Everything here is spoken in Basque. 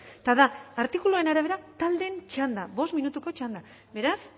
eta da artikuluaren arabera taldeen txanda bost minutuko txanda beraz